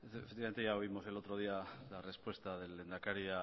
efectivamente ya oímos el otro día la respuesta del lehendakari